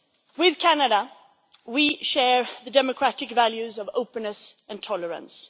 With Canada, we share the democratic values of openness and tolerance.